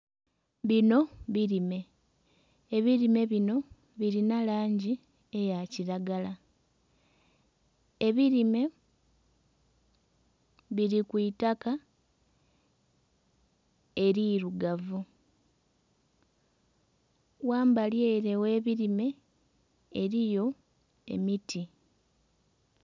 Bino bilime, ebilime bino bilina langi eya kilagala. Ebilime bili ku itaka elirugavu. Ghambali ere gh'ebilime eliyo emiti.